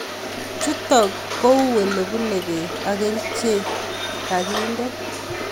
Chutok kou olebunu beek, ak kerchek kakinde